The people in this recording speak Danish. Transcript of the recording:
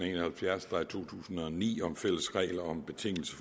en og halvfjerds 2009 om fælles regler om betingelser